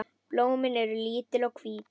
Blómin eru lítil og hvít.